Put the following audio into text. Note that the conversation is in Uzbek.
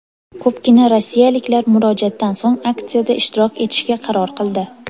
Ko‘pgina rossiyaliklar murojaatdan so‘ng aksiyada ishtirok etishga qaror qildi.